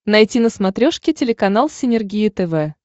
найти на смотрешке телеканал синергия тв